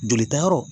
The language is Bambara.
Jolita yɔrɔ